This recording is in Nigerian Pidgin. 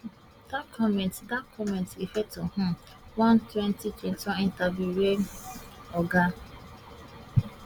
dat comments dat comments refer to um one twenty twenty one interview wey oga